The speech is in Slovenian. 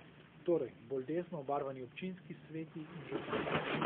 Torej, bolj desno obarvani občinski sveti in župani.